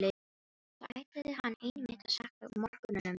Þar ætlaði hann einmitt að salla mörkunum inn!